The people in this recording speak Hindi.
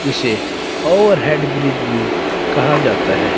इसे ओवर हेड ब्रिज भी कहा जाता है।